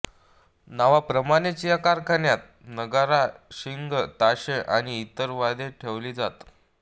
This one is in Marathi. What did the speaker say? नावाप्रमाणेच या कारखान्यात नगारा शिंग ताशे आणि इतर वाद्ये ठेवली जात